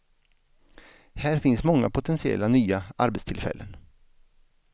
Här finns många potentiella nya arbetstillfällen.